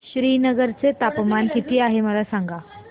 श्रीनगर चे तापमान किती आहे मला सांगा